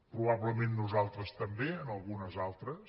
probablement nosaltres també en algunes altres